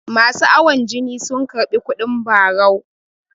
masu awon jini sun karbi kudin barau